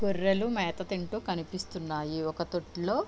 గొర్రెలు మేత తింటూ కనిపిస్తున్నాయి ఒక తొట్టిలో --